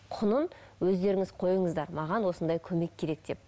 құнын өздеріңіз қойыныздар маған осындай көмек керек деп